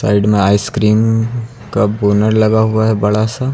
Side में ice cream का banner लगा हुआ है बड़ा सा।